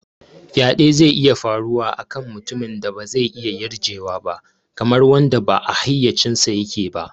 Faɗe zai iya faruwa a kan mutumin da ba zai iya yarjewa ba, kamar wanda ba a hayyacinsa yake ba.